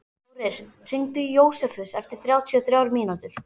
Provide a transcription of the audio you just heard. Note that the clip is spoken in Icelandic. Þórir, hringdu í Jósefus eftir þrjátíu og þrjár mínútur.